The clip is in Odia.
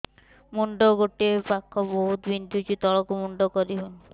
ମୁଣ୍ଡ ଗୋଟିଏ ପାଖ ବହୁତୁ ବିନ୍ଧୁଛି ତଳକୁ ମୁଣ୍ଡ କରି ହଉନି